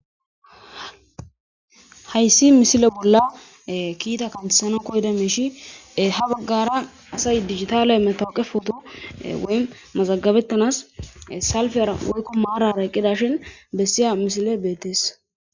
Hayssi misile bolla kiita kantesana koyda meishi ha baggara asay digitale metowqe poto woy mazagabettanas salfera woykko maarara qqida shin bessiya misile beetees